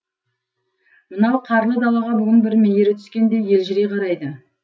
мынау қарлы далаға бүгін бір мейірі түскендей елжірей қарайды